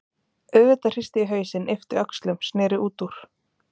auðvitað hristi ég hausinn, yppti öxlum, sneri út úr.